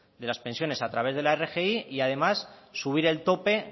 de las pensiones a través de la rgi y además subir el tope